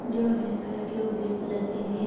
जो orange colour के और ब्लू कलर के हैं।